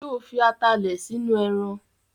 Sọ fi atalẹ̀ sínú ẹran?